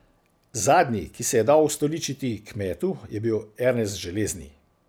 Zadnji, ki se je dal ustoličiti kmetu, je bil Ernest Železni.